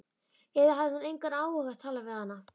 Eða hafði hann engan áhuga á að tala við hana?